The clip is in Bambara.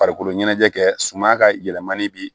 Farikolo ɲɛnajɛ kɛ suma ka yɛlɛmali bi